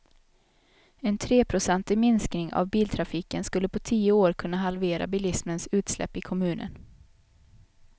En treprocentig minskning av biltrafiken skulle på tio år kunna halvera bilismens utsläpp i kommunen.